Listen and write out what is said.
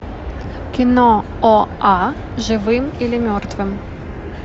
кино оа живым или мертвым